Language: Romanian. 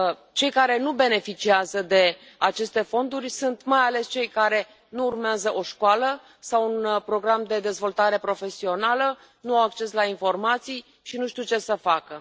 Cei care nu beneficiază de aceste fonduri sunt mai ales cei care nu urmează o școală sau un program de dezvoltare profesională, nu au acces la informații și nu știu ce să facă.